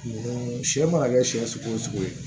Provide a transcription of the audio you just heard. Mun sɛ mana kɛ sɛ sugu o sugu ye